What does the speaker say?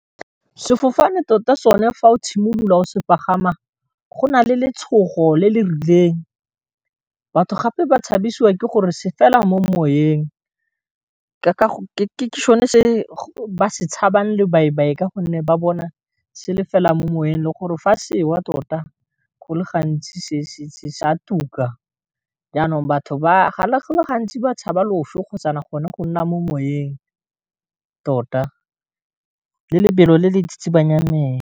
Sefofane tota sone fa o tshimolola o se pagama, go na le letshogo le le rileng batho gape ba tshabisiwa ke gore se fela mo moyeng, ke sone se ba se tshabang lobaibai, ka gonne ba bona se le fela mo moweng le gore fa se wa tota go le gantsi se sa tuka, jaanong batho ba le bantsi ba tshaba loso kgotsa gone go nna mo moweng tota le lebelo le le tsitsibanyang mme.